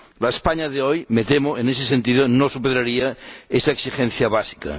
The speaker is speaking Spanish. La España de hoy, me temo, en ese sentido no superaría esa exigencia básica.